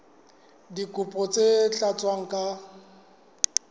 dikopo tse sa tlatswang ka